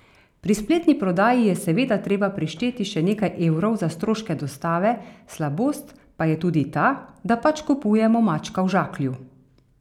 Pri spletni prodaji je seveda treba prišteti še nekaj evrov za stroške dostave, slabost pa je tudi ta, da pač kupujemo mačka v žaklju.